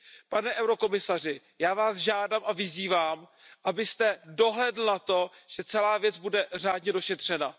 Pane komisaři, já Vás žádám a vyzývám, abyste dohlédl na to, že celá věc bude řádně došetřena.